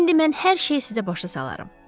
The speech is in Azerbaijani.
İndi mən hər şeyi sizə başa salaram.